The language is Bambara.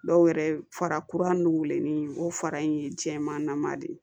Dɔw yɛrɛ fara kuranin weeleli o fara in ye jɛman nama de ye